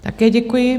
Také děkuji.